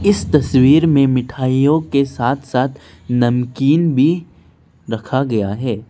इस तस्वीर में मिठाइयों के साथ साथ नमकीन भी रखा गया है।